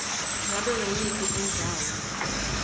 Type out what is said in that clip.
ngabe nguyiphi indzawo